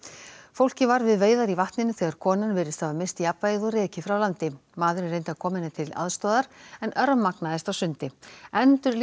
fólkið var við veiðar í vatninu þegar konan virðist hafa misst jafnvægið og rekið frá landi maðurinn reyndi að koma henni til aðstoðar en örmagnaðist á sundi